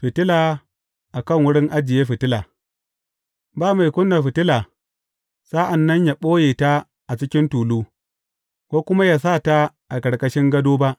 Fitila a kan wurin ajiye fitila Ba mai ƙuna fitila sa’an nan ya ɓoye ta a cikin tulu, ko kuma ya sa ta a ƙarƙashin gado ba.